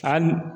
A hali